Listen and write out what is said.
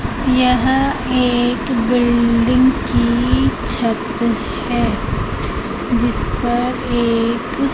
यह एक बिल्डिंग की छत है जिस पर एक --